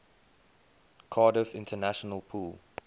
cardiff international pool